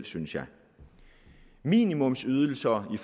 synes jeg minimumsydelser i